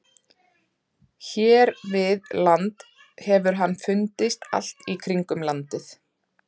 Hér við land hefur hann fundist allt í kringum landið.